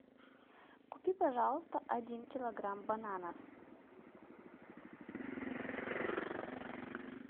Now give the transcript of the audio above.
купи пожалуйста один килограмм бананов